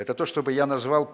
это то чтобы я назвал